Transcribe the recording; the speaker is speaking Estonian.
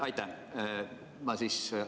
Aitäh!